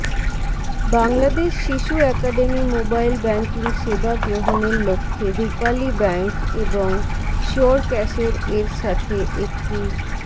বাংলাদেশ শিশু academy mobile banking সেবা গ্রহণের লক্ষ্যে রূপালী ব্যাংক এবং শিওরক্যাশের এর সাথে একটি